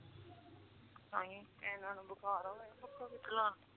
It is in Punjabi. ਨਹੀਂ ਏਨਾ ਨੁ ਬੁਖਾਰ ਹੋਇਆ ਪਿਆ ਪੱਖਾਂ ਥੋੜੀ ਚਲਾਉ